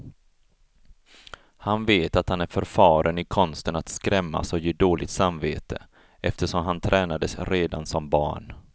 Han vet att han är förfaren i konsten att skrämmas och ge dåligt samvete, eftersom han tränades redan som barn.